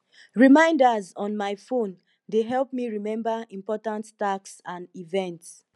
reminders on my phone dey help me remember important tasks and events